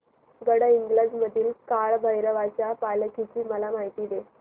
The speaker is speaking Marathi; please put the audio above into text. गडहिंग्लज मधील काळभैरवाच्या पालखीची मला माहिती दे